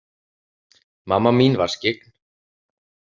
Mamma mín var skyggn.